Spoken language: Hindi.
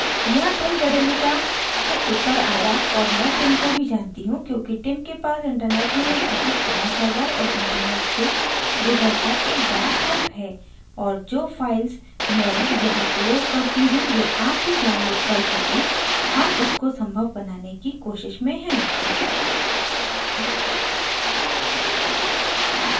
यहाँ tim jedlicka tim jedlicka से उत्तर आया और मैं tim को भी जानती हूँ क्योंकि tim के पास internet में एक बहुत बड़ा server और internet से गुज़रता एक बड़ा pipe है और जो files मैं यहाँ प्रयोग करती हूँ वे आप भी download कर सकें हम इसको संभव बनाने की कोशिश में हैं